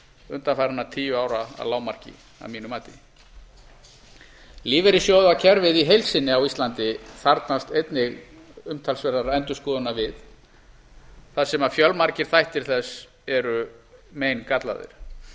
undanfarinna tíu ára að lágmarki að mínu mati lífeyrissjóðakerfið í heild sinni á íslandi þarfnast einnig umtalsverðar endurskoðunar við þar sem fjölmargir þættir þess eru meingallaðir þar